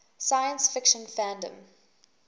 science fiction fandom